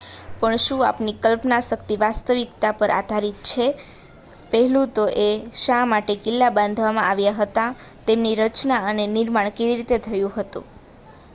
પણ શું આપણી કલ્પનાશક્તિ વાસ્તવિકતા પર આધારિત છે પહેલું તો એ કે શા માટે કિલ્લા બાંધવામાં આવ્યા હતા તેમની રચના અને નિર્માણ કેવી રીતે થયું હતું